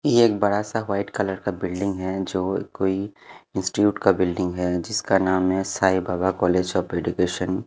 ये एक बड़ा सा वाइट कलर का बिल्डिंग है जो कोई इंस्टिट्यूट का बिल्डिंग है जिसका नाम है Sai Baba college of education --